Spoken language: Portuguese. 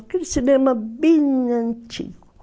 Aquele cinema bem antigo.